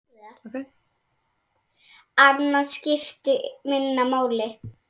Annað skipti minna máli.